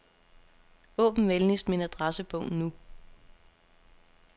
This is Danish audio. Åbn venligst min adressebog nu.